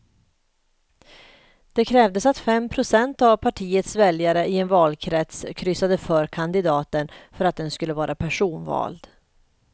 Då krävdes att fem procent av partiets väljare i en valkrets kryssade för kandidaten för att den skulle vara personvald.